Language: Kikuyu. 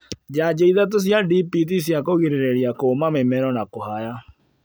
njanjo ithatu cia DPT cia kũgirĩrĩria kũũma mĩmero na kũhaya